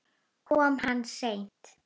Kom hann seint?